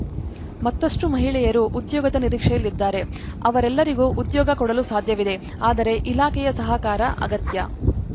ಮತ್ತಷ್ಟುಮಹಿಳೆಯರು ಉದ್ಯೋಗದ ನಿರೀಕ್ಷೆಯಲ್ಲಿದ್ದಾರೆ ಅವರೆಲ್ಲರಿಗೂ ಉದ್ಯೋಗ ಕೊಡಲು ಸಾಧ್ಯವಿದೆ ಆದರೆ ಇಲಾಖೆಯ ಸಹಕಾರ ಅಗತ್ಯ